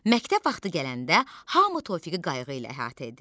Məktəb vaxtı gələndə hamı Tofiqi qayğı ilə əhatə edirdi.